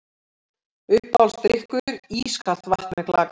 Uppáhaldsdrykkur: ískalt vatn með klaka